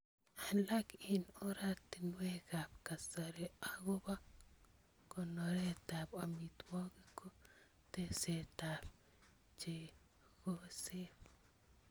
Alak eng oratinwekab kasari agobo konoretab amitwogik ko teksetab chogesiek